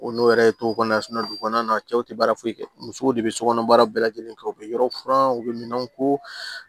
O n'o yɛrɛ tɔ kɔnɔna dugu kɔnɔna na cɛw tɛ baara foyi kɛ musow de bɛ sokɔnɔ baara bɛɛ lajɛlen kɛ u bɛ yɔrɔ furan u bɛ minan ko